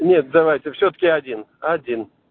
нет давайте всё-таки один один